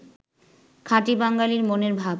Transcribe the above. খাঁটি বাঙ্গালীর মনের ভাব